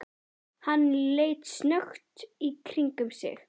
Hann leit snöggt í kringum sig.